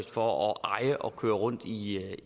for at eje og køre rundt i